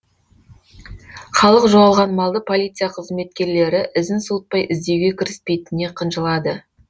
халық жоғалған малды полиция қызметкерлері ізін суытпай іздеуге кіріспейтініне қынжылады